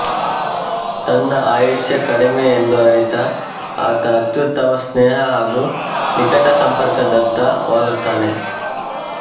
ತನ್ನ ಆಯುಷ್ಯ ಕಡಿಮೆ ಎಂದು ಅರಿತ ಆತ ಅತ್ಯುತ್ತಮ ಸ್ನೇಹ ಹಾಗು ನಿಕಟಸಂಪರ್ಕದತ್ತ ವಾಲುತ್ತಾನೆ